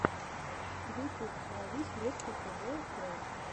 ютюб ловись рыбка тв трек